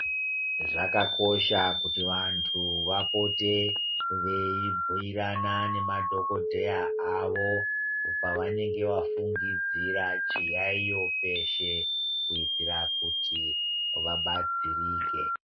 Zvakakosha kuti vantu vapote veibhuirane nemadhokodheya avo panenge vafungidzira chiyaiyo peshe kuitira kuti vabatsirike.